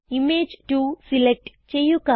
image 2 select ചെയ്യുക